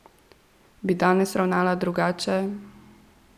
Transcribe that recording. Bi danes ravnala drugače?